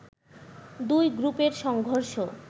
দুই গ্রুপের সংঘর্ষ